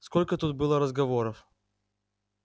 сколько тут было разговоров